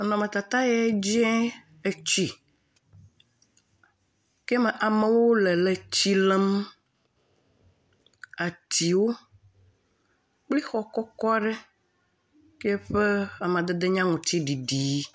Nɔnɔmetata ya dzie tsi ke me amewo le tsi lém, atiwo kple xɔ kɔkɔ aɖe ke ƒe amadede nye aŋutiɖiɖi.